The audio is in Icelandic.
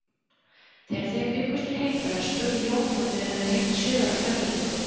Þegar þeir bjuggust til heimferðar spurði Jón hvort þeir hefðu heyrt sögur af Grænlendingum.